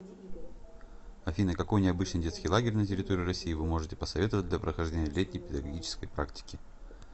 афина какой необычный детский лагерь на территории россии вы можете посоветовать для прохождения летней педагогической практики